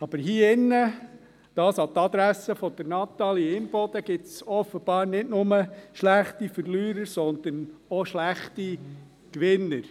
Aber hier im Saal – dies an die Adresse von Natalie Imboden – gibt es offenbar nicht nur schlechte Verlierer, sondern auch schlechte Gewinner.